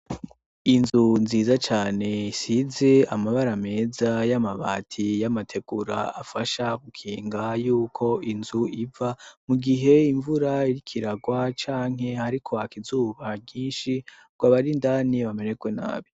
Inzu nziza cane isize amabara meza, y'amabati y'amategura afasha gukinga yuko inzu iva mu gihe imvura iriko iragwa, canke hariko haka izuba ryinshi, ngo abari indani bamererwe nabi.